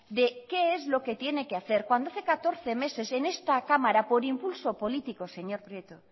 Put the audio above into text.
de qué es lo que tiene que hacer cuando hace catorce meses en esta cámara por impulso político señor prieto